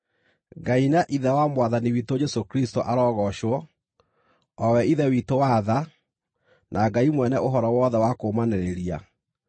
Ngai na Ithe wa Mwathani witũ Jesũ Kristũ arogoocwo, o we Ithe witũ wa tha, na Ngai mwene ũhoro wothe wa kũũmanĩrĩria,